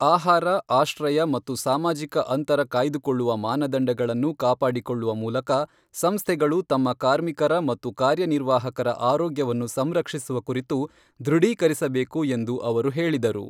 ಆಹಾರ, ಆಶ್ರಯ ಮತ್ತು ಸಾಮಾಜಿಕ ಅಂತರ ಕಾಯ್ದುಕೊಳ್ಳುವ ಮಾನದಂಡಗಳನ್ನು ಕಾಪಾಡಿಕೊಳ್ಳುವ ಮೂಲಕ ಸಂಸ್ಥೆಗಳು ತಮ್ಮ ಕಾರ್ಮಿಕರ ಮತ್ತು ಕಾರ್ಯನಿರ್ವಾಹಕರ ಆರೋಗ್ಯವನ್ನು ಸಂರಕ್ಷಿಸುವ ಕುರಿತು ದೃಢೀಕರಿಸಬೇಕು ಎಂದು ಅವರು ಹೇಳಿದರು.